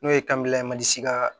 N'o ye ye mandi ka